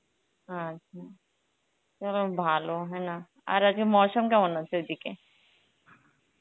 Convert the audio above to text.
আচ্ছা, কেরম ভালো , আর আগে Hindi কেমন আছে ওইদিকে?